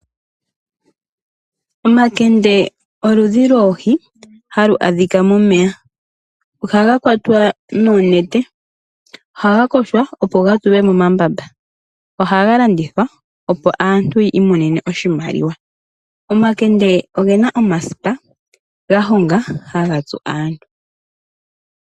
Omakende oludhi loohi halu adhika momeya, ohaga kwatwa noonete, ohaga koshwa opo gatulwe momambamba, ohaga landithwa opo aantu yiimonene oshimaliwa. Omakende ogena omasipa gahonga haga tsu aantu.